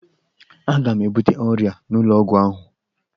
Aga m ebute ọrịa n'ụlọ ọgwụ ahụ